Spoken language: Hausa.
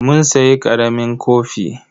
Mun sayi ƙaramin kofi.